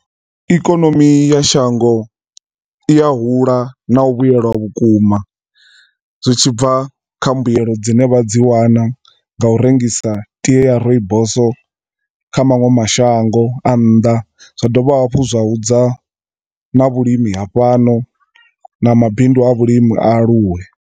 Ikonomi ya shango iya hula na u vhuyelwa vhukuma zwi tshibva kha mbuelo dzine vha dzi wana nga u rengisa tie ya rooibos kha manwe mashango a nnḓa, zwa dovha hafhu zwa hudza na vhulimi hafhano, na mabindu a vhulimi a aluwe.